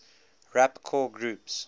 rapcore groups